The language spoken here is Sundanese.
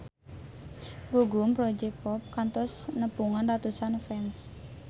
Gugum Project Pop kantos nepungan ratusan fans